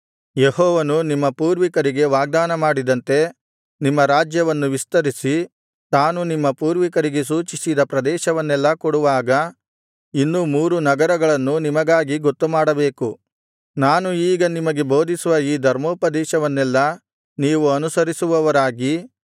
ಯೆಹೋವನು ನಿಮ್ಮ ಪೂರ್ವಿಕರಿಗೆ ವಾಗ್ದಾನಮಾಡಿದಂತೆ ನಿಮ್ಮ ರಾಜ್ಯವನ್ನು ವಿಸ್ತರಿಸಿ ತಾನು ನಿಮ್ಮ ಪೂರ್ವಿಕರಿಗೆ ಸೂಚಿಸಿದ ಪ್ರದೇಶವನ್ನೆಲ್ಲಾ ಕೊಡುವಾಗ ಇನ್ನೂ ಮೂರು ನಗರಗಳನ್ನು ನಿಮಗಾಗಿ ಗೊತ್ತುಮಾಡಬೇಕು ನಾನು ಈಗ ನಿಮಗೆ ಬೋಧಿಸುವ ಈ ಧರ್ಮೋಪದೇಶವನ್ನೆಲ್ಲಾ ನೀವು ಅನುಸರಿಸುವವರಾಗಿ